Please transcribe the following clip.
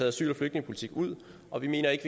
asyl og flygtningepolitikken ud og vi mener ikke